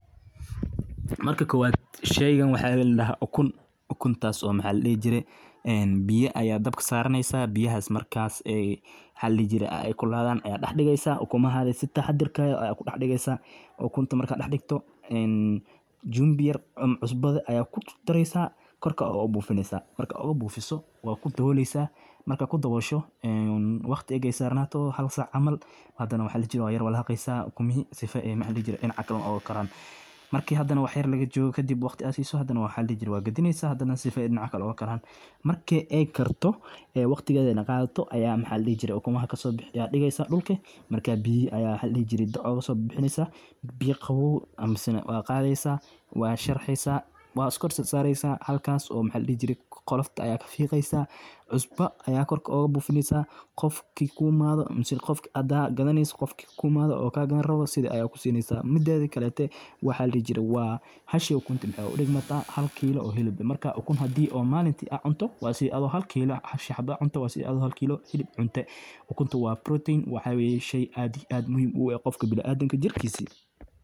Marka kowad sheygan waxa laadahaa ukun, ukuntas oo maxa ladihi jirey biyaa ayaa dab saraneysa, biyahas markas maxa ladihire aay kululadan ayad dax digeysa ukumahaga sii taxadar leh ayad kudax digeysa, ukunta markad dax digto chunvi ama cusbo ayad kudardareysa marka kor ayad ogabufineysa markad ogabufiso wad kudaboleysa markaa aad kudabosho waqti markay sarnato hal sac camal hadanah, waxa ladihire waa yar walageysa ukumihi sifoo aay dinaca kale ogakaran, marka hadanah waxyar lagajogoo kadib waqti aad siso wad gadineysa sifo dinaca kale ogakaran, marki aay karto aay waqtigedanah aay qadato aya maxa ladihi jire ukumada kasobixineyso yad digeysa dulka biyaha ayad kaso bibixineysa mise wad qadeysa wad sharaxeysa wad iskor korsareysa halkas oo maxa ladihi jire qolofta ayad kasareysa cusbo ayad kor ogabufineysa qofki kuimado amah qofki hada gadaneyso qofki kuimado midedhi kaletee waxa ladihi jire waa hashi ukunti waxay udigmata hal kilo oo hilib ah, marka ukun hadii oo malinta aad cunto waxay udiganta hal kilo oo hilib eeh marka ukun hadi aad malinti aad cunto waa sidhii adhigo hal kilo hashi xabo aad cunto adhigo hal kilo hilib cunte, ukuntu waa protein waa shey muhim aad iyo aad ueh bini adamka jirkisi.